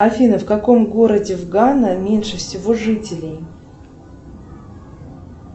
афина в каком городе в гана меньше всего жителей